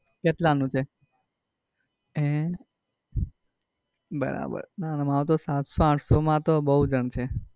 કેટલા નું છે? હે બરાબર મારુ તો સાતસો આઠસો માં તો બઉ જાણ છે.